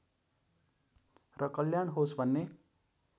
र कल्याण होस् भन्ने